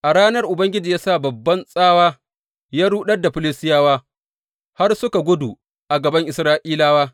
A ranar Ubangiji ya sa babban tsawa ya ruɗar da Filistiyawa har suka gudu a gaban Isra’ilawa.